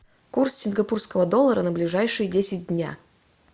курс сингапурского доллара на ближайшие десять дня